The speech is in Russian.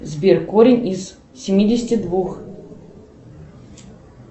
сбер корень из семидесяти двух